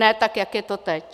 Ne tak, jak je to teď.